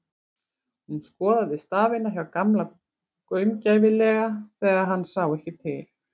Hún skoðaði stafina hjá Gamla gaumgæfilega þegar hann sá ekki til.